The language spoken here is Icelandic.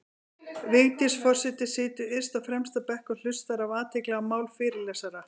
Vigdís forseti situr yst á fremsta bekk og hlustar af athygli á mál fyrirlesara.